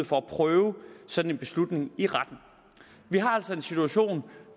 få prøvet en sådan beslutning i retten vi har altså en situation